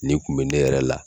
Nin kun bɛ ne yɛrɛ la.